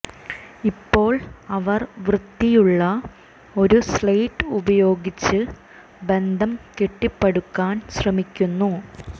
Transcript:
ഇപ്പോൾ അവർ വൃത്തിയുള്ള ഒരു സ്ളേറ്റ് ഉപയോഗിച്ച് ബന്ധം കെട്ടിപ്പടുക്കാൻ ശ്രമിക്കുന്നു